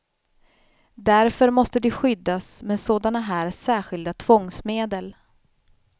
Därför måste de skyddas med sådana här särskilda tvångsmedel.